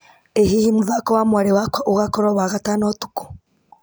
ĩ hihi mũthako wa mwarĩ wakwa ũgakorwo wagatano ũtukũ